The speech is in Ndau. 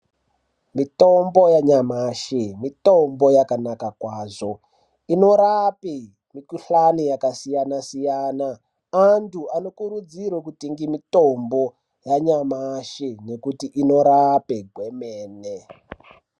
Mitombo yanyamashe, mitombo yakanaka kwazvo. Inorape mikhuhlane yakasiyana siyana. Antu anokurudzirwe kutenge mitombo yanyamashe yekuti inorape kwemene.